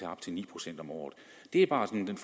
op til ni procent om året det er bare den